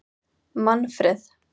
Manfreð